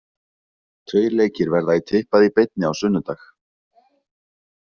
Tveir leikir verða í Tippað í beinni á sunnudag.